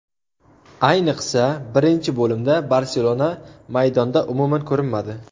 Ayniqsa birinchi bo‘limda ‘Barselona’ maydonda umuman ko‘rinmadi.